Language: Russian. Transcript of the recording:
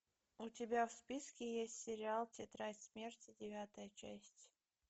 у тебя в списке есть сериал тетрадь смерти девятая часть